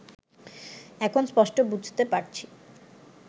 এখন স্পষ্ট বুঝতে পারছি